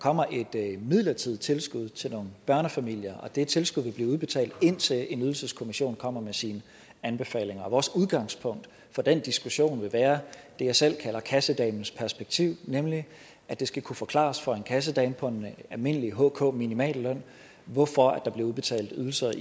kommer et midlertidigt tilskud til nogle børnefamilier og det tilskud vil blive udbetalt indtil en ydelseskommission kommer med sine anbefalinger og vores udgangspunkt for den diskussion vil være det jeg selv kalder kassedamens perspektiv nemlig at det skal kunne forklares for en kassedame på en almindelig hk minimalløn hvorfor der bliver udbetalt ydelser